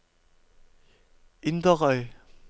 Inderøy